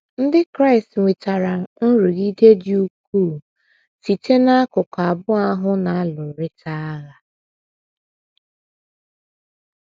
Ndị Kraịst nwetara nrụgide dị ukwuu site dị ukwuu site n’akụkụ abụọ ahụ na - alụrịta agha um.